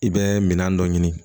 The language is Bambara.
I bɛ minɛn dɔ ɲini